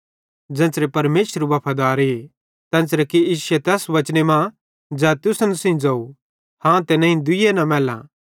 ज़ेन्च़रे परमेशर वफादारे तेन्च़रे कि इश्शे तैस वचने मां ज़ै तुसन सेइं ज़ोवं हाँ ते नईं दुइये न मैल्ले